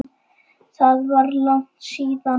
Það var langt síðan.